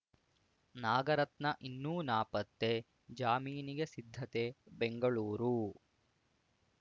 ನಾಗರತ್ನ ಇನ್ನೂ ನಾಪತ್ತೆ ಜಾಮೀನಿಗೆ ಸಿದ್ಧತೆ ಬೆಂಗಳೂರು